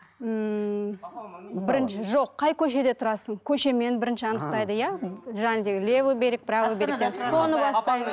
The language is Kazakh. ммм бірінші жоқ қай көшеде тұрасың көшемен бірінші анықтайды иә жаңағы левый берег правый берег